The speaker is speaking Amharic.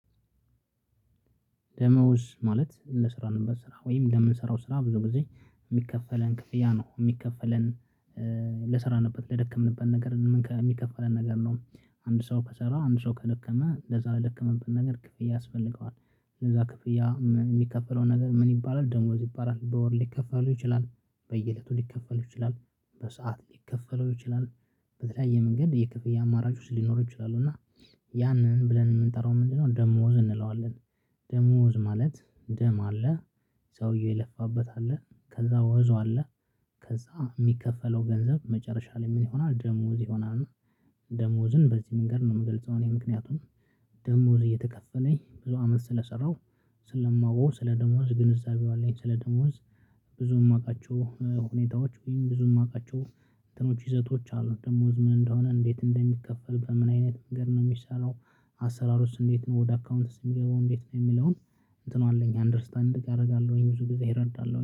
ደሞዝ ማለት ለስራ ነበር ስራ ወይም ለምንሰራው ስራ ብዙ ጊዜ የሚከፈለን ክፍያ ነው የሚከፈለን ልሰራንበት ለደከምንበት ነገር የሚከፈለን ነገር ነው። አንድ ሰው ከሰራ አንድ ሰው ከደከመ ለዛ ለደከመበት ነገር ክፍያ ያስፈልገዋል። ለዛ ክፍያ የሚከፈለው ነገር ምን ይባላል ደሞዝ ይባላል በወር ሊከፈለው ይችላል በየእለቱ ሊከፈለው ይችላል በሰአት ሊከፈለው ይችላል በተለያየ መንገድ የከፍያ አማራጮች ውስጥ ሊኖረው ይችላሉ እና ያንን ብለን የምንጠራው ምንድነው ደሞዝ እንለዋለን። ደሞዝ ማለት ደም አለ ሰውውዬ የለፋበት አለ ከዛ ዙብ አለ ከዛ የሚከፈለው ገንዘብ መጨረሻ ላይ ምን ይሆናል ደሞዝ ይሆናል። ደሞዝን በዚህ መንገድ ነው የምገልጸው እኔ ምክንያቱም ደሞዝ እየተከፈለኝ ብዙ አመት ስለሰራሁ ስለማውቀው ስለ ደሞዝ ግንዛቤው አለኝ ስለ ደሞዝ ብዙ የማውቃቸው ሁኔታዎች ወይም ብዙ የማውቃቸው እንትኖች ይዘቶች አሉ ደሞዝ ህዝብ እንደሆነ እንዴት እንደሚከፈል በምን አይነት ነገር ነው የሚሰራው? አሰራር ውስጥ እንዴት ነው ወደ አካውንት የሚገባው እንዴት ነው የሚለውን እንትኑ አለኝ አንደርስታንድ እያደረጋለሁኝ ብዙ ጊዜ እረዳለሁኝ